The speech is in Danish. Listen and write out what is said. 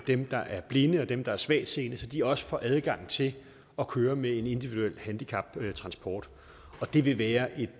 dem der er blinde og dem der er svagtseende så de også får adgang til at køre med en individuel handicaptransport det vil være et